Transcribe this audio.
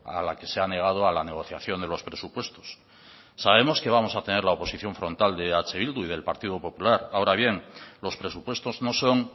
a la que se ha negado a la negociación de los presupuestos sabemos que vamos a tener la oposición frontal de eh bildu y del partido popular ahora bien los presupuestos no son